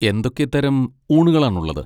എന്തൊക്കെ തരം ഊണുകളാണുള്ളത്?